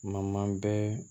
Ma man bɛ